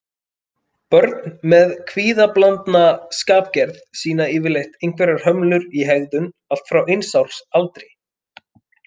Börn með kvíðablandna skapgerð sýna yfirleitt einhverjar hömlur í hegðun allt frá eins árs aldri.